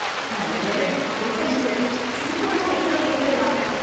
நல்ல வேளை, கூட்டமில்லை, சீக்கிரமா ரயில்ல ஏறிடலாம்.